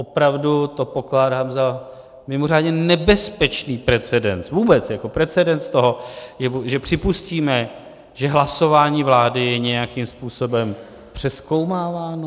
Opravdu to pokládám za mimořádně nebezpečný precedens, vůbec jako precedens toho, že připustíme, že hlasování vlády je nějakým způsobem přezkoumáváno.